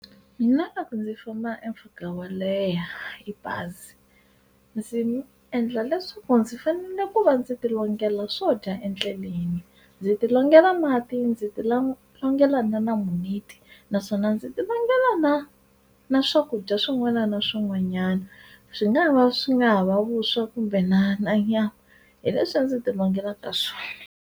Mina ndzi famba mpfhuka wo leha hi bazi ndzi endla leswaku ndzi fanele ku va ndzi tilongela swo dya endleleni ndzi tilongela mati ndzi ti longela na naswona ndzi ti longela na na swakudya swin'wana na swin'wanyana swi nga va swi nga ha va vuswa kumbe na na nyama hi leswi ndzi ti longelaka swona.